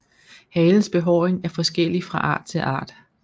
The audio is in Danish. Halens behåring er forskellig fra art til art